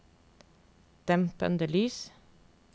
dempede lys